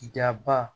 Jaba